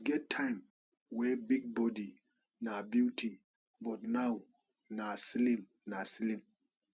e get time wey big body na beauty but now nah slim nah slim